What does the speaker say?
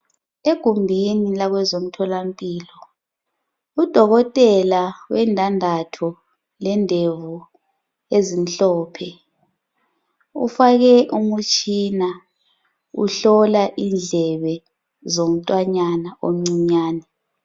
Egumbini lakozomtholampilo udokotela wendandatho lendevu ezimhlophe ufake umutshina uhlola indlebe zomntwanyana omncinyane